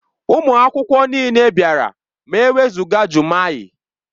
Ụmụ akwụkwọ niile bịara ma e wezụga Jummai.